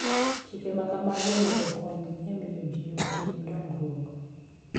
Chike ma kamago onego okony e miyo ji otim dongruok.